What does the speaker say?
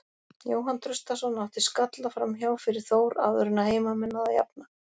Jóhann Traustason átti skalla framhjá fyrir Þór áður en að heimamenn náðu að jafna.